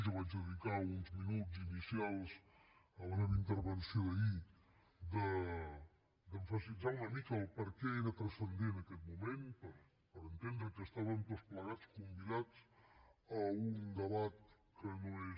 jo vaig dedicar uns minuts inicials de la meva intervenció d’ahir a emfasitzar una mica el perquè era transcendent aquest moment per entendre que estàvem tots plegats convidats a un debat que no és